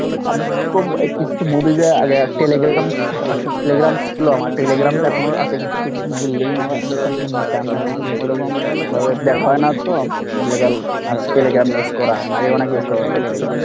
আমি তো ওরকম কিছুতো movie যে আগে Telegrams Telegrams ছিলো আমার Telegrams এখনও আছে কিছু কিছু movie link আমি ঐখান থেকে নিতাম এখন ওই রকমভাবে দেখা হয় না তো এর লাগে আর Telegram use করা হয় না আগে অনেক use করা হয় হতো Telegram ।